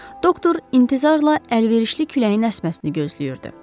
Doktor intizarla əlverişli küləyin əsməsini gözləyirdi.